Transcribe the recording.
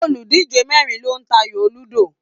Oludije mẹrin lo n t'ayo ludo.